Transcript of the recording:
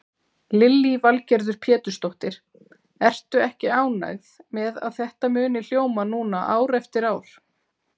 Lillý Valgerður Pétursdóttir: Ertu ekki ánægð með að þetta muni hljóma núna ár eftir ár?